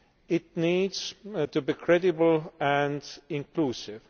It needs to be credible and inclusive.